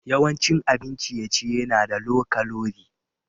Yawancin abin ciye-ciye na da low kalori.